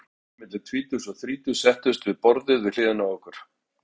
Tvær vinkonur milli tvítugs og þrítugs settust við borðið við hliðina á okkur.